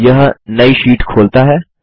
यह नई शीट खोलता है